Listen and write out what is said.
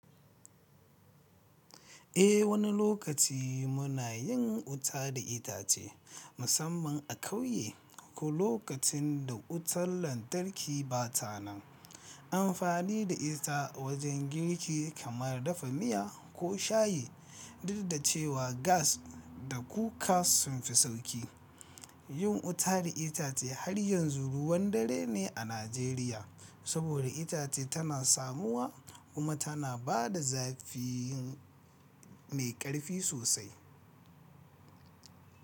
Eh, wani lokaci muna yin wuta da itace, musamman a ƙauye ko lokacin da wutan lantarki ba ta nan. An fani da ita wajen girki kamar dafa miya ko shayi, duk da cewa gas da cooker sun fi sauƙi. Yin wuta da itace har yanzu ruwan dare ne a Najeriya saboda itace tana samuwa kuma tana ba da zafi mai ƙarfi sosai.